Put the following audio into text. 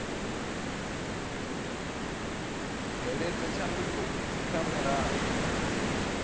bveledza tshanduko idzi kha mulayo